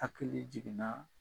Hakili jiginna